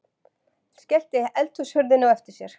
Skellti eldhúshurðinni á eftir sér.